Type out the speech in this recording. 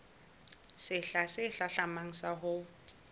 sehla se hlahlamang sa ho